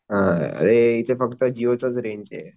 अ इथे फक्त जिओ चीच रेंजे